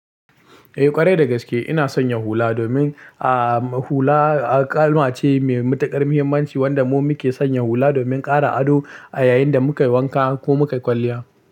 Eh ƙwarai da gaske ina sanya hula domin a hula kalma ce mai matuƙar muhimmanci wanda mu muke sanya hula domin ƙara ado a yayin da mukai wanka ko mukai kwalliya.